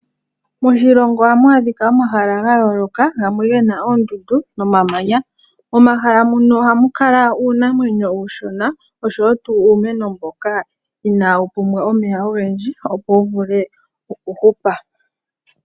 Moshilongo ohamu adhika omahala ga yooloka, gamwe ge na oondundu nomamanya. Momahala mono ohamu kala uunamwenyo uushona oshowo uumeno mboka inaawu pumbwa omeya ogendji opo wu vule okuhupa.